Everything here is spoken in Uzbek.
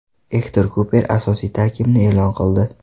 Ektor Kuper asosiy tarkibni e’lon qildi.